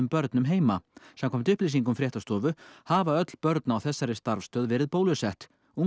börnum heima samkvæmt upplýsingum fréttastofu hafa öll börn í þessari starfsstöð verið bólusett